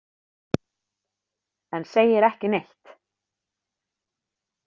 En segir ekki neitt.